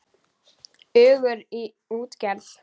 Ungur í útgerð